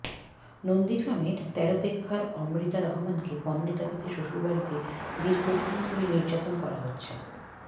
নন্দীগ্রামের তেরপেখ্যার অমৃতা রহমানকে পণের দাবিতে শ্বশুরবাড়িতে দীর্ঘদিন ধরে নির্যাতন করা হচ্ছে